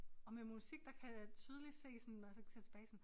Og med musik der kan jeg tydeligt se sådan når jeg så ser tilbage sådan